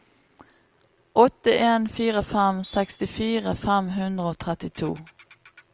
åtte en fire fem sekstifire fem hundre og trettito